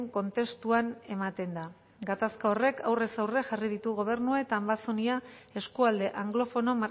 kontestuan ematen da gatazka horrek aurrez aurre jarri ditu gobernua eta ambazonia eskualde anglofono